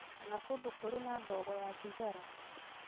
kana kũndũ kũrĩ na ndogo ya thigara